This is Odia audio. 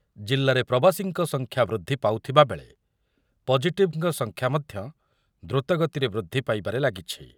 ।ଜିଲ୍ଲାରେ ପ୍ରବାସୀଙ୍କ ସଂଖ୍ୟା ବୃଦ୍ଧି ପାଉଥିବା ବେଳେ ପଜିଟିଭଙ୍କ ସଂଖ୍ୟା ମଧ୍ୟ ଦୃତ ଗତିରେ ବୃଦ୍ଧି ପାଇବାରେ ଲାଗିଛି ।